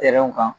Yɛrɛw kan